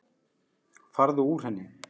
Farðu úr henni.